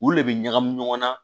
U le bɛ ɲagami ɲɔgɔn na